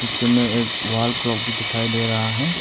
जिनमें एक wall clock भी दिखाई दे रहा है।